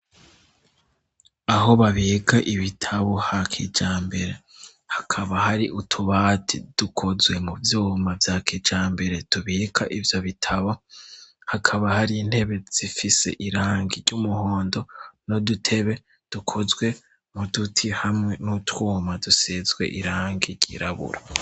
Aho babika ibitabo ha kijambere hakaba hari utubati dukozwe mu vyuma bya kijambere tubika ivyo bitabo hakaba hari intebe zifise irangi ry'umuhondo n'udutebe dukozwe mu duti hamwe n'utwuma dusezwe irangi ry'iraburo.